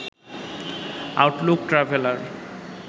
Outlook traveller